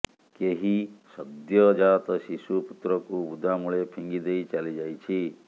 କେହି ସଦ୍ୟଜାତ ଶିଶୁ ପୁତ୍ରକୁ ବୁଦାମୂଳେ ଫିଙ୍ଗି ଦେଇ ଚାଲିଯାଇଛି